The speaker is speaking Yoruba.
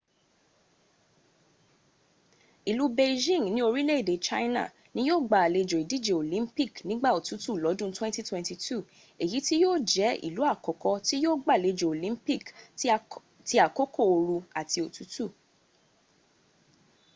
ìlú beijing ní orílẹ̀èdè china ni yío gba àlejò ìdíje olympic nígbà òtútù lọ́dún 2022 èyí tí yíò jẹ́ ìlú àkọ́kọ́ tí yíò gbàlejò olympic ti àkókò ooru àti òtútù